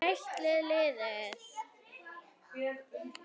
Er liðið eitt lið?